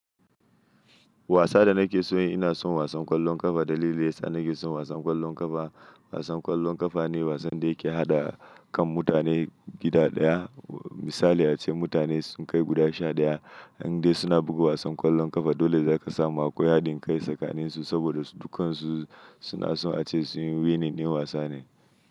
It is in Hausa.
Wasa da nake so inasan wasan ƙwallon ƙafa. Dalilin yasa nake son wasan ƙwallon ƙafa, wasan ƙwallon ƙafa ne wasan da yake haɗa kan mutane gida ɗaya. Misali ace mutane sun kai guda sha daya in dai suna buga wasan ƙwallon ƙafa dole za ka samu akwai haɗin kai tsakanin su saboda su dukansu suna so ace su yi winning din wasa ne.